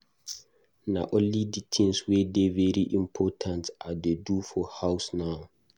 Na only di tins wey dey very important I dey buy for house now.